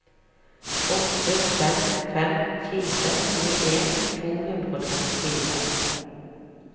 åtte fem fem fire tjueen to hundre og trettifire